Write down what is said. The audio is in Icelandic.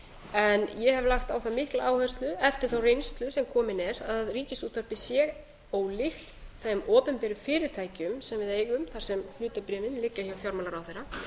en ég hef lagt á það mikla áherslu eftir þá reynslu sem komin er að ríkisútvarpið sé ólíkt þeim opinberu fyrirtækjum sem við eigum þar sem hlutabréfin liggja hjá fjármálaráðherra